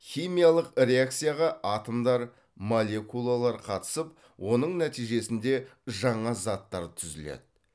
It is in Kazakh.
химиялық реакцияға атомдар молекулалар қатысып оның нәтижесінде жаңа заттар түзіледі